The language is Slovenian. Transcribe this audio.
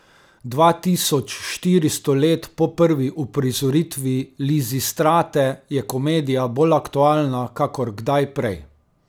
Dva tisoč štiristo let po prvi uprizoritvi Lizistrate je komedija bolj aktualna kakor kdaj prej.